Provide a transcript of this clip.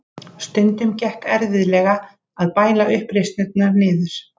Stundum gekk erfiðlega að bæla uppreisnirnar niður.